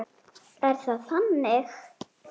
Er það þannig?